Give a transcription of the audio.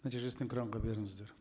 нәтижесін экранға беріңіздер